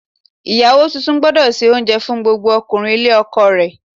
Ìyàwó tuntun gbúdọ̀ se oúnjẹ fún gbogbo ọkùnrin ilé ọkọ rẹ̀.